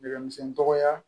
Nɛgɛmisɛnnin tɔgɔya